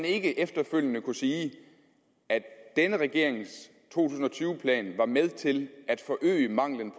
ikke efterfølgende vil kunne sige at denne regerings to tusind og tyve plan var med til at forøge manglen